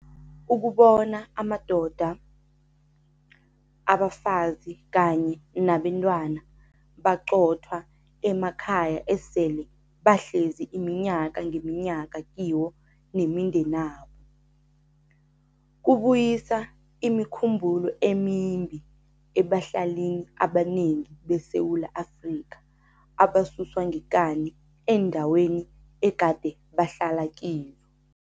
Ukubona amadoda, abafazi kanye nabentwana baqothwa emakhaya esele bahlezi iminyaka ngeminyaka kiwo nemindenabo, kubuyisa imikhumbulo emimbi ebahlalini abanengi beSewula Afrika abasuswa ngekani eendaweni egade bahlala kizo.